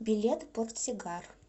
билет портсигар